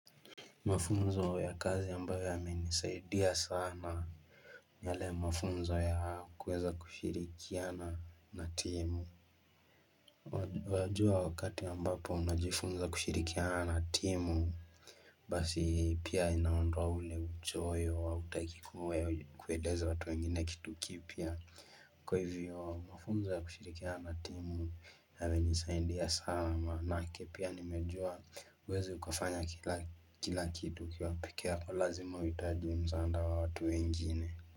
Mafunzo ya kazi ambayo yamenisaidia sana yale mafunzo ya kuweza kushirikiana na timu. Wajua wakati ambapo unajifunza kushirikiana na timu basi pia inaondoa ule uchoyo wa hutaki kueleza watu wengine kitu kipya. Kwa hivyo mafunzo ya kushirikiana na timu yamenisaidia sana maanake pia nimejua huwezi ukafanya kila kitu. Pike yako lazima uhitaji msaada wa watu wengine.